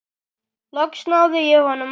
Loks náði ég honum af.